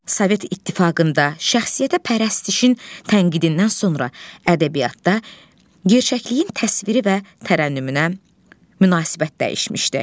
Sovet İttifaqında şəxsiyyətəpərəstişin tənqidindən sonra ədəbiyyatda gerçəkliyin təsviri və tərənnümünə münasibət dəyişmişdir.